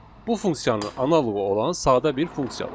Bu funksiyanın analoqu olan sadə bir funksiya var.